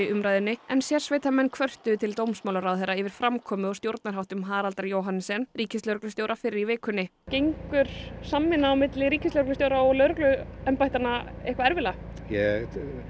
umræðunni en sérsveitarmenn kvörtuðu til dómsmálaráðherra yfir framkomu og stjórnarháttum Haraldar Johannessen ríkislögreglustjóra fyrr í vikunni gengur samvinna milli ríkislögreglustjóra og lögregluembættanna eitthvað erfiðlega ég